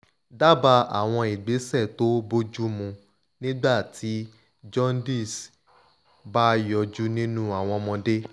daba àwọn ìgbésẹ̀ to boju mu nígbà tí jaundice bá ń yọjú nínú àwọn ọmọdé